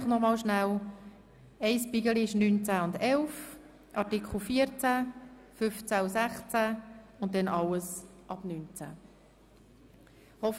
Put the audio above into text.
Ich wiederhole noch einmal, das erste Bündel besteht aus Artikel 9, 10 und 11, danach folgt Artikel 14, danach Artikel 15 und 16 und danach alles ab Artikel 19.